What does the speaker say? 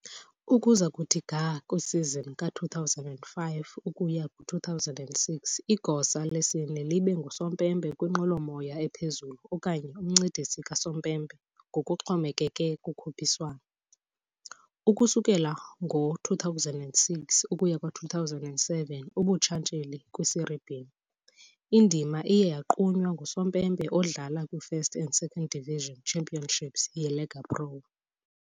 Ukuza kuthi ga kwisizini ka-2005 ukuya ku-2006 igosa lesine libe ngusompempe kwinqwelomoya ephezulu okanye umncedisi kasompempe ngokuxhomekeke kukhuphiswano. Ukusukela ngo-2006 ukuya ku-2007 ubuntshatsheli kwiSerie B, indima iye yagqunywa ngusompempe odlala kwi- First and Second Division Championships yeLega Pro.